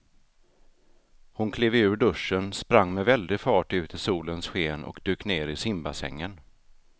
Hon klev ur duschen, sprang med väldig fart ut i solens sken och dök ner i simbassängen.